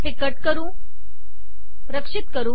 हे रक्षित करू